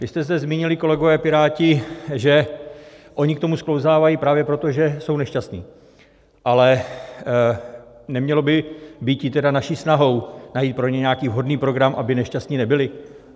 Vy jste se zmínili, kolegové Piráti, že oni k tomu sklouzávají právě proto, že jsou nešťastní, ale nemělo by býti tedy naší snahou najít pro ně nějaký vhodný program, aby nešťastní nebyli?